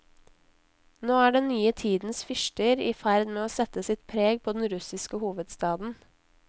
Nå er den nye tidens fyrster i ferd med å sette sitt preg på den russiske hovedstaden.